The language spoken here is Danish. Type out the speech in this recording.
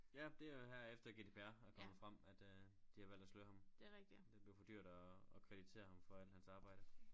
Ja det er her efter GDPR er kommet frem at øh de har valgt at sløre ham det blev for dyrt at at kreditere ham for alt hans arbejde